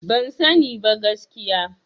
Ban sani ba, gaskiya.